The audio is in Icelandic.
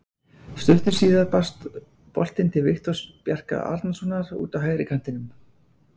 Stuttu síðar barst boltinn til Viktors Bjarka Arnarsonar út á hægri kantinum.